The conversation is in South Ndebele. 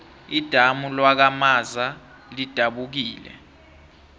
idamu lakwamaza lidabukile